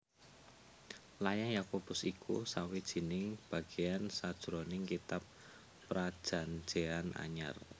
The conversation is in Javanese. Layang Yakobus iku sawijining bagéan sajroning Kitab Prajanjéyan Anyar